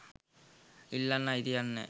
ඉල්ලන්න අයිතියක් නෑ.